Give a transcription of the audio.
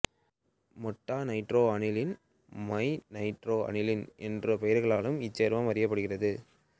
meta-nitro aniline மெநைட்ரோ aniline என்ற பெயர்களாலும் இச்சேர்மம் அறியப்படுகிறது